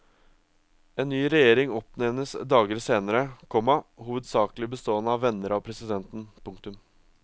En ny regjering oppnevnes dager senere, komma hovedsakelig bestående av venner av presidenten. punktum